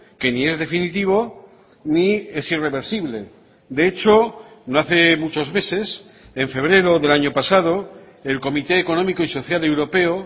que ni es definitivo ni es irreversible de hecho no hace muchos meses en febrero del año pasado el comité económico y social europeo